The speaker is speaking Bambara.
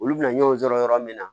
Olu bɛna ɲɔgɔn sɔrɔ yɔrɔ min na